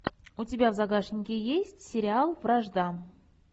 у тебя в загашнике есть сериал вражда